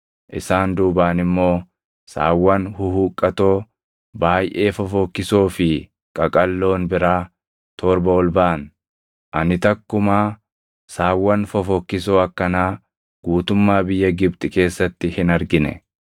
Isaan duubaan immoo saawwan huhuqqatoo, baayʼee fofokkisoo fi qaqalloon biraa torba ol baʼan; ani takkumaa saawwan fofokkisoo akkanaa guutummaa biyya Gibxi keessatti hin argine.